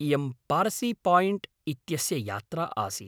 इयं पारसीपायिण्ट् इत्यस्य यात्रा आसीत्।